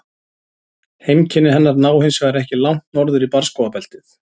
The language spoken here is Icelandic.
Heimkynni hennar ná hins vegar ekki langt norður í barrskógabeltið.